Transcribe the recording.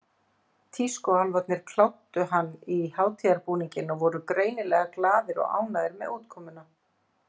Tískuálfarnir kláddu hann í hátíðarbúninginn og voru greinilega glaðir og ánægðir með útkomuna.